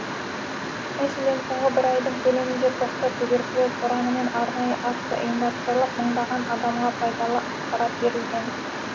мәселен соңғы бір айдың көлемінде тоқта туберкулез ұранымен арнайы акция ұйымдастырылып мыңдаған адамға пайдалы ақпарат берілген